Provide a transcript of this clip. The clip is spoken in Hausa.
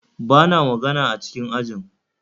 Ba na magana a cikin ajin